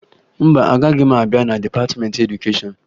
Mba, agaghị m abịa na dịpatịmentị edukeshọn